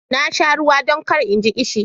Na sha ruwa don kar in ji ƙishi.